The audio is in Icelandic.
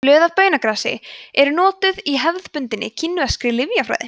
blöð af baunagrasi eru notuð í hefðbundinni kínverskri lyfjafræði